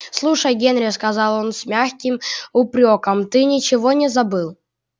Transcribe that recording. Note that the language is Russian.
слушай генри сказал он с мягким упрёком ты ничего не забыл